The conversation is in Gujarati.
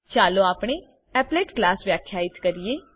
ચાલો આપણેapplet ક્લાસ વ્યાખ્યિત કરીએ